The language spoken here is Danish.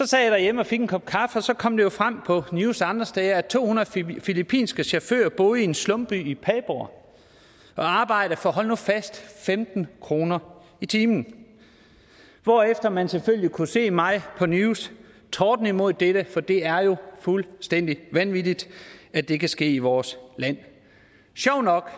sad derhjemme og fik en kop kaffe og så kom det jo frem på news og andre steder at to hundrede filippinske chauffører boede i en slumby i padborg og arbejdede for hold nu fast femten kroner i timen hvorefter man selvfølgelig kunne se mig på news tordne imod dette for det er jo fuldstændig vanvittigt at det kan ske i vores land sjovt nok